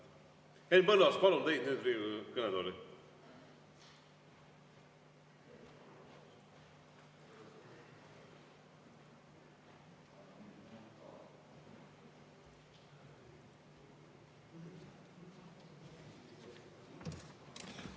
Henn Põlluaas, palun teid nüüd Riigikogu kõnetooli!